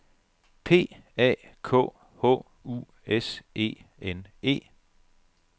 P A K H U S E N E